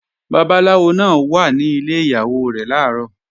Babaláwo náà wà ní ilẹ̀ Ìyàwó làárọ̀